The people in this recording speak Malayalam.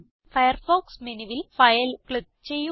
ഫയർഫോക്സ് മെനു ബാറിൽ ഫൈൽ ക്ലിക്ക് ചെയ്യുക